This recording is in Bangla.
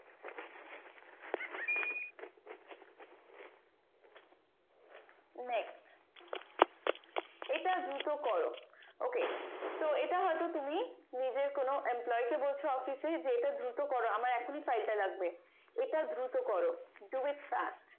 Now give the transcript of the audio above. next এটা দ্রুত করো ok তো এটা হয়তো তুমি নিজের কোনো employ কে বলছো office এ যে এটা দ্রুত করো আমার এখনই faile টা লাগবে এটা দ্রুত করো do it fast